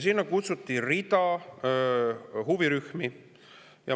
Sinna kutsuti rida huvirühmi.